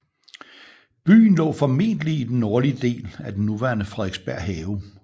Byen lå formentlig i den nordlige del af den nuværende Frederiksberg Have